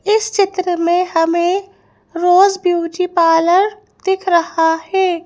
इस चित्र में हमें रोज ब्यूटी पार्लर दिख रहा है।